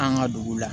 An ka dugu la